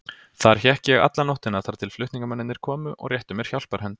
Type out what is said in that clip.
Þar hékk ég alla nóttina þar til flutningamennirnir komu og réttu mér hjálparhönd.